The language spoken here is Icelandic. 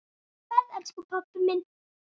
Góða ferð, elsku pabbi minn.